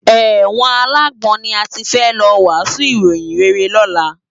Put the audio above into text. Èwòn àlágbòn ni àtí fè lò wàsún iróyin réré lòlá